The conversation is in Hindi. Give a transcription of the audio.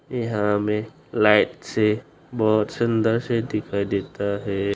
यहां हमें लाइट से बहुत सुंदर से दिखाई देता है।